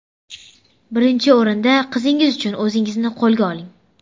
Birinchi o‘rinda qizingiz uchun o‘zingizni qo‘lga oling.